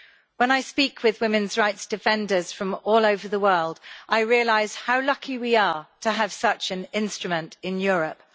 When I speak with women's rights defenders from all over the world, I realise how lucky we are to have such an instrument in Europe.